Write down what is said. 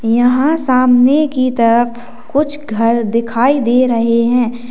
यहां सामने की तरफ कुछ घर दिखाई दे रहे हैं